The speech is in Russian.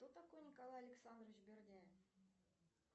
кто такой николай александрович бердяев